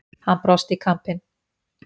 Hann brosti í kampinn.